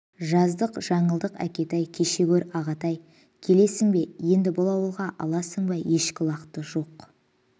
жаздық жаңылдық әкетай кеше гөр ағатай келесің бе енді бұл ауылға аласың ба ешкі-лақты жоқф